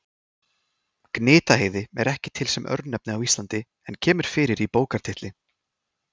Gnitaheiði er ekki til sem örnefni á Íslandi en kemur fyrir í bókartitli.